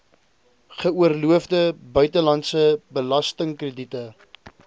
geoorloofde buitelandse belastingkrediete